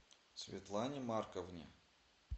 светлане марковне